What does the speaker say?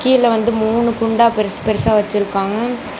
இதுல வந்து மூணு குண்டா பெருசு பெருசா வச்சிருக்காங்க.